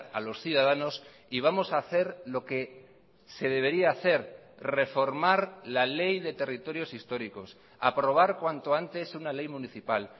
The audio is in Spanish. a los ciudadanos y vamos a hacer lo que se debería hacer reformar la ley de territorios históricos aprobar cuanto antes una ley municipal